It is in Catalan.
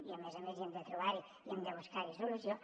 i a més a més hem de trobar hi i hem de buscar hi solució